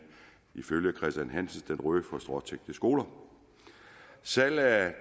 ifølge hansens den røde for stråtækte skoler salg af